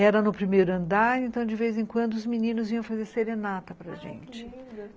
Era no primeiro andar, então de vez em quando os meninos vinham fazer serenata para gente, ah, que lindo!